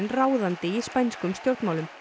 ráðandi í spænskum stjórnmálum